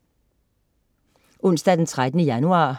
Onsdag den 13. januar